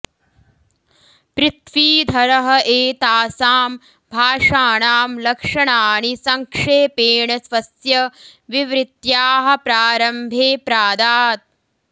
पृथ्वीधरः एतासां भाषाणां लक्षणाणि सङ्क्षेपेण स्वस्य विवृत्याः प्रारम्भे प्रादात्